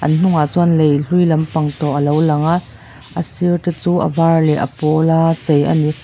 an hnungah chuan lei hlui lampang tawh alo lang a a sir te chu a var leh a pâwl a chei ani.